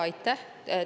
Aitäh!